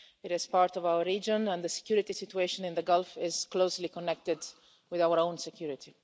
It is part of our region, and the security situation in the Gulf is closely connected with our own security.